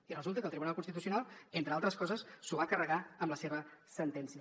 i resulta que el tribunal constitucional entre altres coses s’ho va carregar amb la seva sentència